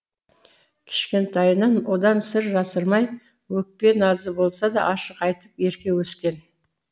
кішкентайынан одан сыр жасырмай өкпе назы болса да ашық айтып ерке өскен